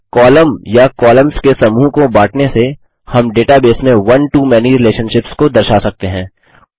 अतः कॉलम या कॉलम्स के समूह को बाँटने से हम डेटाबेस में one to मैनी रिलेशनशिप्स को दर्शा सकते हैं